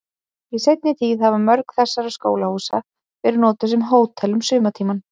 Í seinni tíð hafa mörg þessara skólahúsa verið notuð sem hótel um sumartímann.